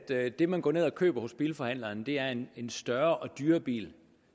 det man går ned og køber hos bilforhandleren er en en større og dyrere bil